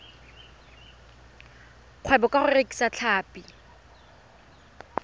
kgwebo ka go rekisa tlhapi